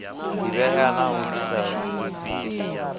divhea na u disa dzithanzi